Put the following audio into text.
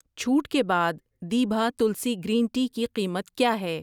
چھوٹ کے بعد دیبھا تلسی گرین ٹی کی قیمت کیا ہے؟